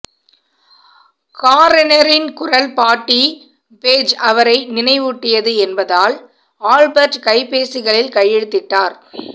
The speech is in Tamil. காரெரின் குரல் பாட்டி பேஜ் அவரை நினைவூட்டியது என்பதால் ஆல்பெர்ட் கைப்பேசிகளில் கையெழுத்திட்டார்